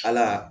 Ala